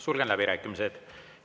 Sulgen läbirääkimised.